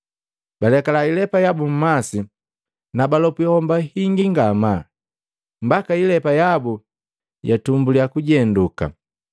Balekala ilepa yabu mmasi na balopwi homba hingi ngamaa, mbaka ilepa yabu yatumbulya kujenduka.